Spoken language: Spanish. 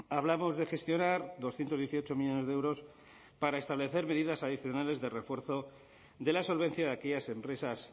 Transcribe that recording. hablamos de gestionar doscientos dieciocho millónes de euros para establecer medidas adicionales de refuerzo de la solvencia de aquellas empresas